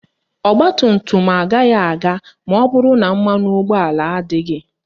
Ọgbatumtum agaghị aga maọbụrụ na mmanụ ụgbọala adịghị